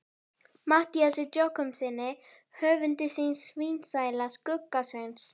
Matthíasi Jochumssyni höfundi hins sívinsæla Skugga-Sveins.